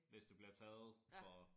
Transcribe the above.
Hvis det bliver taget for